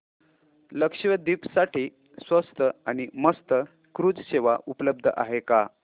लक्षद्वीप साठी स्वस्त आणि मस्त क्रुझ सेवा उपलब्ध आहे का